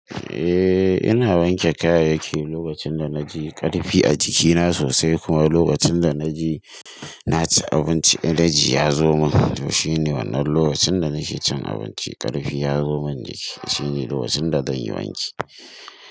Eh ina wanke kaya yake lokacin da na ji ƙarfi a jikina sosai kuma lokacin da na ji na ci abinci, enaji ya zo min. To shine wannan lokacin da nake cin abinci, ƙarfi ya zo min jiki. Shine lokacin da zan yi wanki.